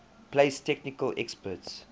place technical experts